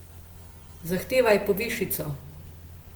Zahtevaj povišico ...